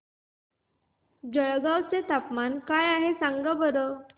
जळगाव चे तापमान काय आहे सांगा बरं